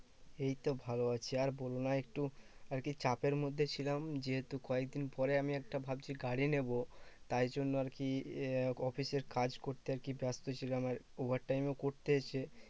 এই তো ভালো আছি। আর বলোনা একটু আরকি চাপের মধ্যে ছিলাম যেহেতু কয়েকদিন পরে আমি একটা ভাবছি গাড়ি নেবো। তাইজন্য আরকি আহ অফিসের কাজ করতে আরকি ব্যস্ত ছিলাম। আর over time ও করতে এসে